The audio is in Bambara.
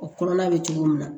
O kɔnɔna bɛ cogo min na